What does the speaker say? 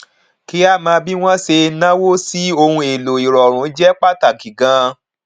kí a mọ bí wọn ṣe náwó sí ohun èlò ìrọrùn jẹ pàtàkì ganan